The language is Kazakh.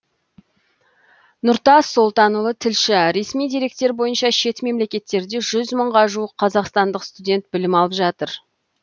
нұртас солтанұлы тілші ресми деректер бойынша шет мемлекеттерде жүз мыңға жуық қазақстандық студент білім алып жатыр